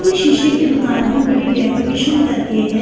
.پورے شیشے کی دکان ہیں بدی ڈیکوریشن کرکے ہیں